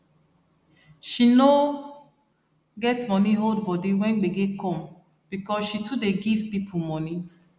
she no get money hold body when gbege come because she too dey give people money